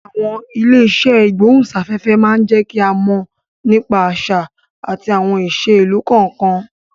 Àwọn ilé iṣẹ́ ìgbóhùn sáfẹ́fẹ́ má jẹ́ ń ká mọ̀ nípa àṣà àti àwọn ìṣe ìlú kọ̀ọ̀kan